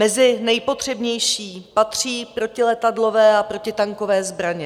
Mezi nejpotřebnější patří protiletadlové a protitankové zbraně.